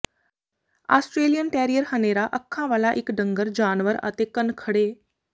Australian terrier ਹਨੇਰਾ ਅੱਖਾਂ ਵਾਲਾ ਇਕ ਡੰਗਰ ਜਾਨਵਰ ਅਤੇ ਕੰਨ ਖੜ੍ਹੇ